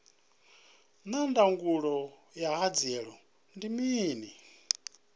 naa ndangulo ya hanziela ndi mini